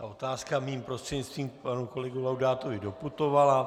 A otázka mým prostřednictvím k panu kolegovi Laudátovi doputovala.